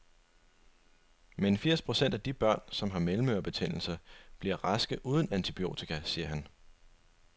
Men firs procent af de børn, som har mellemørebetændelse, bliver raske uden antibiotika, siger han.